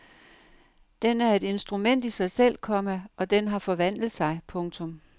Den er et instrument i sig selv, komma og den har forvandlet sig. punktum